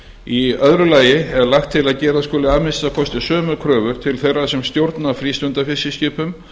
í öðru lagi er lagt til að gera skuli að minnsta kosti sömu kröfur til þeirra sem stjórna frístundafiskiskipum